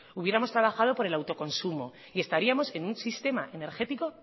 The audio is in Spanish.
hubiéramos trabajado por el autoconsumo y estaríamos en un sistema energético